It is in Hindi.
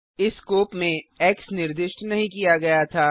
इस स्कोप में एक्स निर्दिष्ट नहीं किया गया था